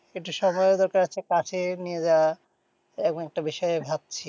একটু সময়েরও দরকার আছে কাছে নিয়ে যাওয়া এমন একটা বিষয়ে ভাবছি।